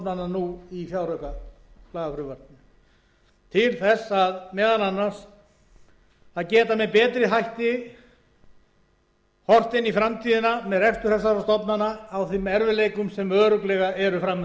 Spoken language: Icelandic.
nú í fjáraukalagafrumvarpinu til þess meðal annars að geta með betri hætti horft inn í framtíðina með betur þessara stofnana á þeim erfiðleikum sem örugglega eru fram undan hæstvirtur